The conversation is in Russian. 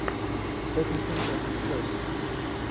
тоттенхэм против челси